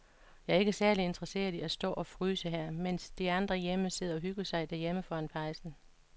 Jeg er ikke særlig interesseret i at stå og fryse her, mens de andre sidder og hygger sig derhjemme foran pejsen.